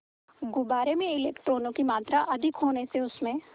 गुब्बारे में इलेक्ट्रॉनों की मात्रा अधिक होने से उसमें